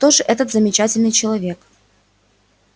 кто же этот замечательный человек